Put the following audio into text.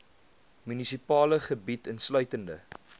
munisipale gebied insluitende